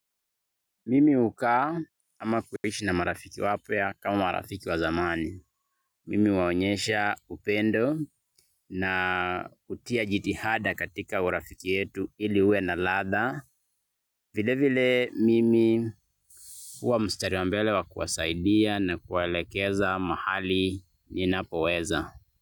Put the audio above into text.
Mimi hukaa ama kuishi na marafiki wapya kama marafiki wa zamani. Mimi huwaonyesha upendo na hutia jitihada katika urafiki yetu ili iwe na latha. Vile vile mimi huwa mstari wa mbele wa kuwasaidia na kuwaelekeza mahali ninapoweza.